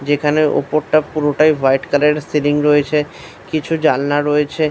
যেখানে উপরটা পুরোটাই হোয়াইট কালার -এর সিলিং রয়েছে কিছু জানলা রয়েছে ।